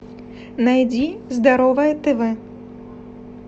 найди здоровое тв